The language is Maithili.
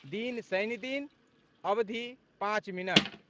दिन, शनिदिन, अवधि, पाँच मिनट